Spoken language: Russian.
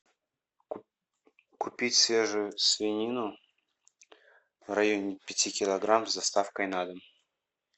купить свежую свинину в районе пяти килограмм с доставкой на дом